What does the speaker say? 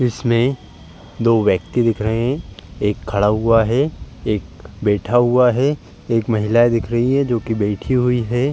इसमें दो व्यक्ति दिख रहे हैं। एक खड़ा हुआ है एक बैठा हुआ है। एक महिला दिख रही है जो कि बैठी हुई है।